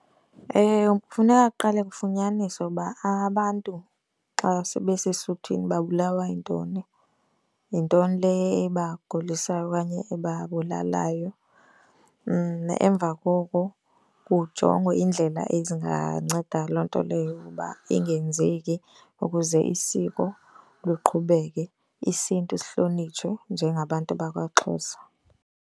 Kufuneka kuqale kufunyaniswe ukuba abantu xa sebesesuthwini babulawa yintoni. Yintoni le ibagulisayo okanye ebabulalayo? Emva koko kujongwe iindlela ezinganceda loo nto leyo uba ingenzeki ukuze isiko luqhubeke, isiNtu sihlonitshwe njengabantu bakwaXhosa.